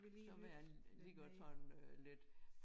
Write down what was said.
Så være øh lige godt sådan øh lidt